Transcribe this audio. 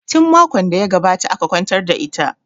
Tin makon da ya gabata aka kwantar da ita